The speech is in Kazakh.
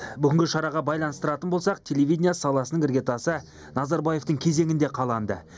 бүгінгі шараға байланыстыратын болсақ телевидение саласының іргетасы назарбаевтың кезеңінде қаланды